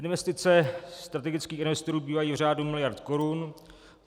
Investice strategických investorů bývají v řádu miliard korun.